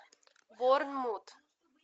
борнмут